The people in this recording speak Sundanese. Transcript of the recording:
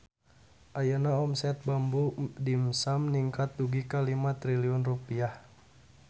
Ayeuna omset Bamboo Dimsum ningkat dugi ka 5 triliun rupiah